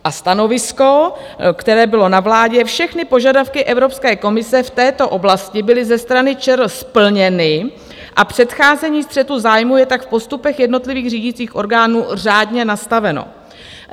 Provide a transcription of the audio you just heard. A stanovisko, které bylo na vládě - všechny požadavky Evropské komise v této oblasti byly ze strany ČR splněny a předcházení střetu zájmů je tak v postupech jednotlivých řídících orgánů řádně nastaveno.